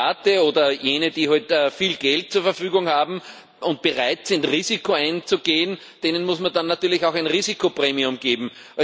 Privaten oder jenen, die heute viel Geld zur Verfügung haben und bereit sind, Risiko einzugehen, muss man dann natürlich auch ein Risikopremium geben.